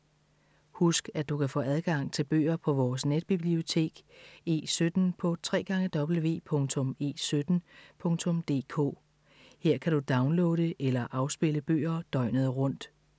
Husk at du kan få adgang til bøger på vores netbibliotek E17 på www.e17.dk. Her kan du downloade eller afspille bøger døgnet rundt.